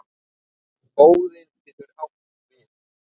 Óðinn getur átt við